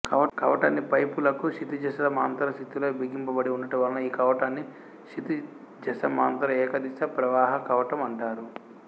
కవాటాన్ని పైపులకు క్షితిజసమాంతరస్థితిలో బిగింపబడి వుండుట వలన ఈ కవాటాన్ని క్షితిజసమాంతర ఏకదిశ ప్రవాహ కవాటం అంటారు